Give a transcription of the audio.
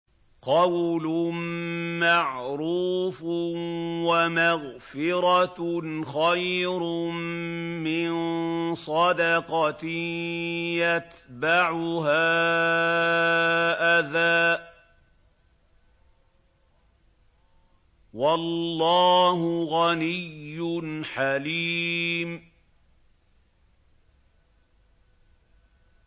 ۞ قَوْلٌ مَّعْرُوفٌ وَمَغْفِرَةٌ خَيْرٌ مِّن صَدَقَةٍ يَتْبَعُهَا أَذًى ۗ وَاللَّهُ غَنِيٌّ حَلِيمٌ